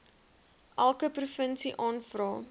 elke provinsie aanvra